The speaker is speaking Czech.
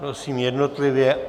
Prosím jednotlivě.